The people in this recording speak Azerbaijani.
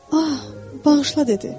Ah, bağışla dedi.